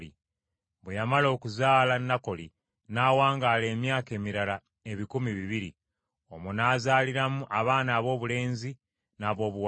bwe yamala okuzaala Nakoli n’awangaala emyaka emirala ebikumi bibiri. Omwo n’azaaliramu abaana aboobulenzi n’aboobuwala.